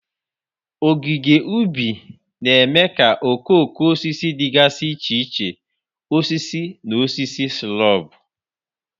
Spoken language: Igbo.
Ogige ubi na-eme ka okooko osisi dịgasị iche iche, osisi na osisi shrub.